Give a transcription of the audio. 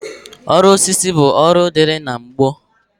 Ọrụ osisi bụ ọrụ dịịrị na gboo